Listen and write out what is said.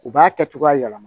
U b'a kɛ cogoya yɛlɛma